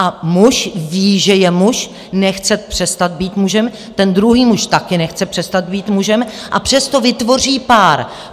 A muž ví, že je muž, nechce přestat být mužem, ten druhý muž také nechce přestat být mužem, a přesto vytvoří pár.